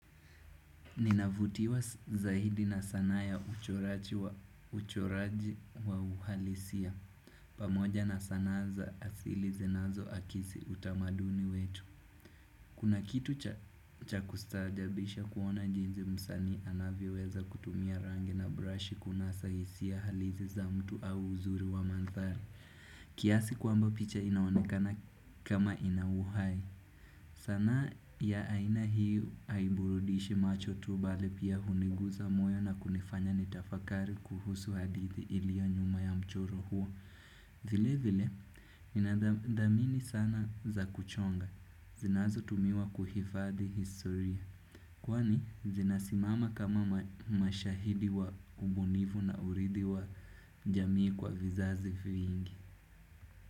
Ninavutiwa zaidi na sanaa ya uchoraji wa uhalisia. Pamoja na sanaa za asili zinazoakisi utamaduni wetu. Kuna kitu cha kustaajabisha kuona jinsi msanii anavyweza kutumia rangi na brush kunasa hisia halisi za mtu au uzuri wa mandhari. Kiasi kwamba picha inaonekana kama inauhai. Sanaa ya aina hii haiburudishi macho tu mbali pia huniguza moyo na kunifanya nitafakari kuhusu hadithi ilio nyuma ya mchoro huo vile vile ninadhamini sana za kuchonga zinazotumiwa kuhifadi historia Kwani zinasimama kama mashahidi wa ubunivu na uridhi wa jamii kwa vizazi vyingi.